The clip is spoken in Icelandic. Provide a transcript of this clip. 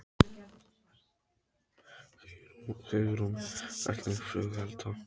Hugrún: Hvernig flugelda?